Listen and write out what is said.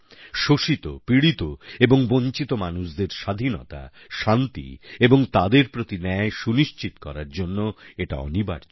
শোষিত পীড়িত এবং বঞ্চিত মানুষদের স্বাধীনতা শান্তি এবং তাদের প্রতি ন্যায় সুনিশ্চিত করার জন্য এটা অনিবার্য